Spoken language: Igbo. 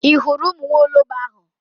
Ị hụrụ ụmụ nwa ologbo ahụ?